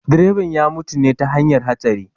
Direban ya mutu ne ta hanyar hatsari